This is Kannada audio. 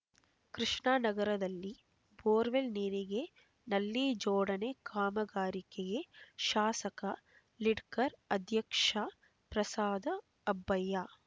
ಕೃಷ್ಣಾನಗರದಲ್ಲಿ ಬೋರ್‌ವೆಲ್ ನೀರಿಗೆ ನಲ್ಲಿ ಜೋಡಣೆ ಕಾಮಗಾರಿಕೆಯೆ ಶಾಸಕ ಲಿಡ್ಕರ ಅಧ್ಯಕ್ಷ ಪ್ರಸಾದ ಅಬ್ಬಯ್ಯಾ